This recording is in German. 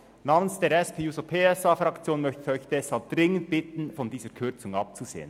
Namens der SP-JUSO-PSA-Fraktion möchte ich Sie deshalb dringend bitten, von dieser Kürzung abzusehen.